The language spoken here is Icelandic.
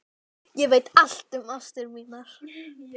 Ég veit allt um ástir mínar.